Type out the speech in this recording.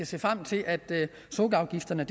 se frem til at sukkerafgifterne